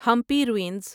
Hampi ruins